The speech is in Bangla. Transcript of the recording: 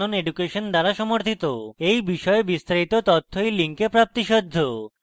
এই বিষয়ে বিস্তারিত তথ্য এই link প্রাপ্তিসাধ্য